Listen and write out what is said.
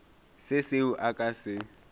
se seo a ka se